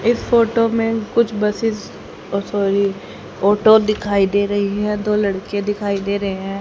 इस फोटो में कुछ बसेस ओह सॉरी ऑटो दिखाई दे रही है दो लड़के दिखाई दे रहे हैं।